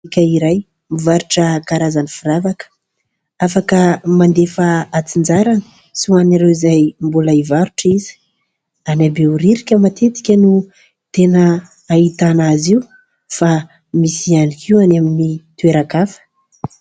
"Bôtika" iray mivarotra karazana firavaka afaka mandefa antsinjarany sy ho an'ireo izay mbola hivarotra izy. Any Behoririka matetika no tena ahitana azy io fa misy ihany koa ny amin'ny toeran-kafa.